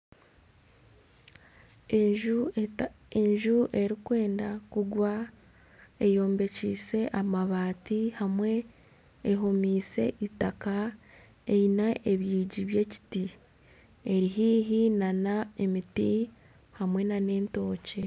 Enju erikwenda kugwa eyombekyise amabaati hamwe ehomise itaaka eine ebyingi by'ekiti eri haihi nana emiti hamwe na n'entookye.